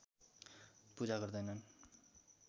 पूजा गर्दैनन्